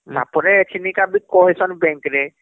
ତାପରେ ଏଛିନିକ ବି କହିସନ bank ରେ